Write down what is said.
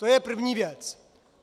To je první věc.